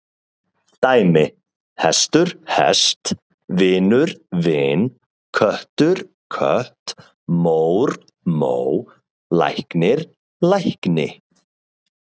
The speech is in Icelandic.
Dæmi: hestur- hest, vinur- vin, köttur- kött, mór- mó, læknir- lækni.